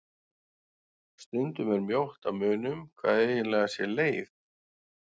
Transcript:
Stundum er mjótt á munum hvað eiginlega sé leif.